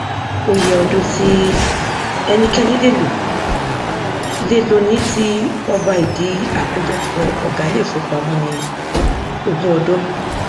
òye ọdún tí ẹnikẹni lè lò lè lò ní ti ọba ìdí akójọpọ ọgá ilé ifówopàmọ ni ogún ọdún